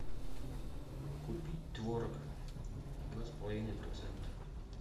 купить творог два с половиной процента